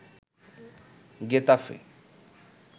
Getafe